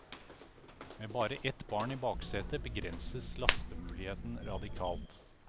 Med bare ett barn i baksetet begrenses lastemuligheten radikalt.